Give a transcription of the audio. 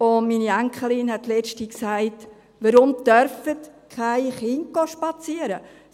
Meine Enkelin sagte letzthin: «Warum dürfen keine Kinder spazieren gehen?